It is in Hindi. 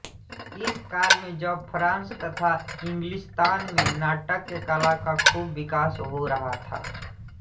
इस काल में जब फ्रांस तथा इंग्लिस्तान में नाट्यकला का खूब विकास हो रहा था